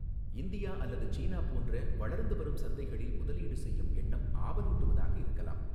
India அல்லது சீனா போன்ற வளர்ந்து வரும் சந்தைகளில் முதலீடு செய்யும் எண்ணம் ஆவலூட்டுவதாக இருக்கலாம்.